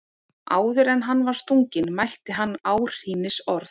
Áður en hann var stunginn mælti hann áhrínisorð.